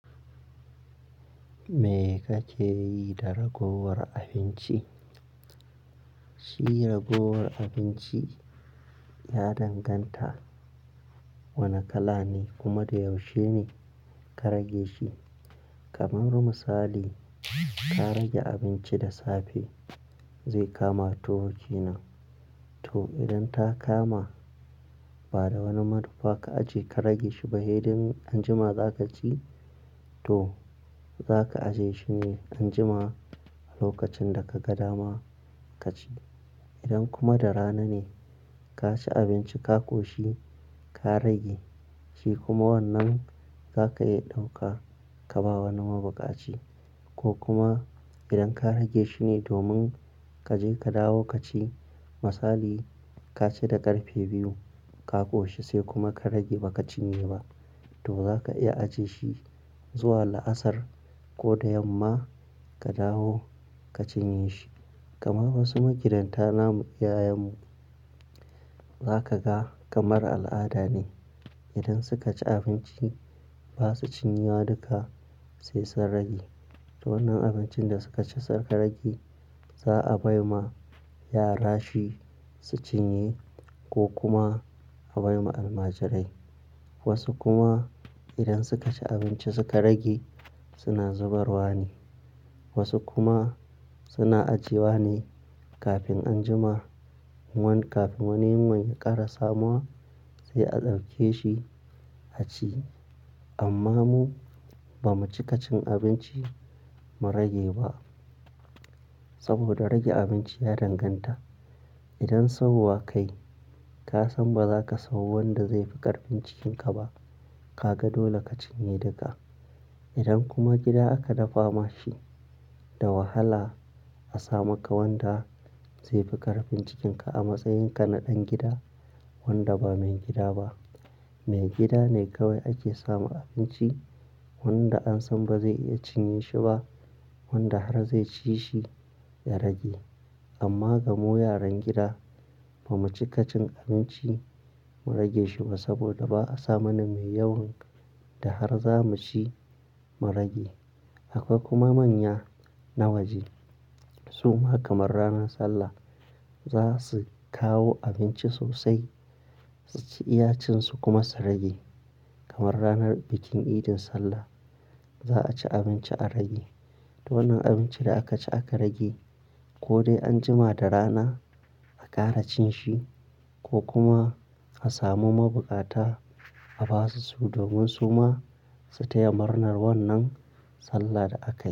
Me kake yi da ragowar abinci? Shi ragowar abinci ya danganta wane kala ne kuma da yaushe ne ka rage shi. Kamar musali, ka rage abinci da safe zai kama toh wuce na. To idan ta kama, bada wani madubba ka aje ka rage shi ba, heden anjima za ka ci to za ka aje shi ne anjima a lokacin da ka ga dama ka ci. Idan kuma da rana ne ka ci abinci ka koshi ka rage shi kuma wannan za ka iya ɗauka ka bawa wani mabukaci. Ko kuma idan ka rage shi ne domin ka je ka dawo ka ci, misali ka ci da ƙarfe biyu ka ƙoshi sai kuma ka rage ba ka cinye ba, to za ka iya aje shi zuwa la'asar ko da yamma ka dawo ka cinye shi. Kamar wasu magidanta namu, iyayenmu za ka ga kamar al'ada ne idan suka ci abinci ba su cinye duka sai sun rage. To wannan abincin da suka ci suka rage, za a bai wa yara shi su cinye ko kuma a bai wa almajirai. Wasu kuma idan suka ci abinci suka rage suna zubarwa ne. Wasu kuma suna ajiyewa ne kafin anjima, wani kafin wani, wani ya ƙara samuwar sai a ɗauke shi a ci. Amma mu ba mu cika cin abinci mu rage ba saboda rage abinci ya danganta. Idan sawowa kayi ka san ba za ka samu wanda zai fi ƙarfin cikinka ba, ka ga dole ka cinye duka. Idan kuma gida aka dafa ma shi da wahala a samu ka wanda zai fi ƙarfin cikinka a matsayinka na ɗan gida wanda ba mai gida ba, mai gida ne kawai ake samu abinci wanda an san ba zai iya cinye shi ba wanda har zai ci shi ya rage. Amma gamu yaran gida ba mu cika cin abinci mu rage shi ba saboda ba a samu na mai yawan da har za mu ci mu rage. Akwai kuma manya na waje su ma kamar ranar Sallah za su kawo abinci sosai su ci iya cin su kuma su rage. Kamar ranar bikin idin Sallah za a ci abinci a rage. To wannan abincin da aka ci aka rage ko dai anjima da rana a ƙara cin shi ko kuma a samu mabukata a basu su domin su ma su taya murnar wannan Sallah da aka yi.